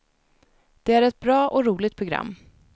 Det är ett bra och roligt program.